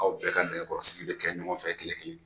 Aw bɛɛ ka nɛgɛkɔrɔsigi bɛ kɛ ɲɔgɔnfɛ tile kelen.